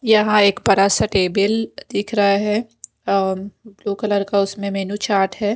यहां एक बड़ा सा टेबल दिख रहा है और ब्लू कलर का उसमें मेनू चार्ट है।